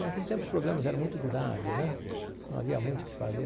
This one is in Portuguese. Naquele tempo, os programas eram muito duráveis né, não havia muito o que fazer.